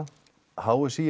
h s í